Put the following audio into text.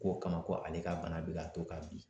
K'o kama ko ale ka bana bɛ ka to k'a bin